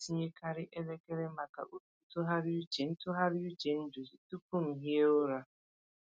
Ana m etinyekarị elekere maka oge ntụgharị uche ntụgharị uche nduzi tupu m hie ụra.